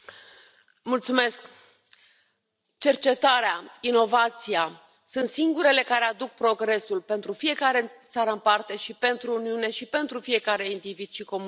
Doamnă președintă, cercetarea, inovația sunt singurele care aduc progresul pentru fiecare țară în parte și pentru Uniune și pentru fiecare individ și comunitate.